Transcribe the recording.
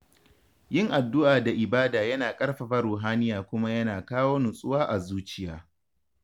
Yin addu’a da ibada yana ƙarfafa ruhaniya kuma yana kawo nutsuwa a zuciya.